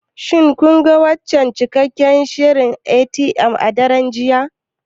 Shin kun ga wancan cikakken shirin na NTA a daren jiya?